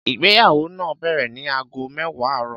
Ìgbéyàwó náà bẹ̀rẹ̀ ní aago mẹ́wàá àárọ̀